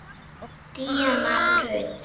Díana og Rut.